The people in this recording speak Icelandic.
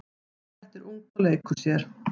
Þetta er ungt og leikur sér.